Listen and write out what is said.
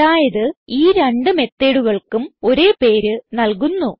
അതായത് ഈ രണ്ട് methodകൾക്കും ഒരേ പേര് നൽകുന്നു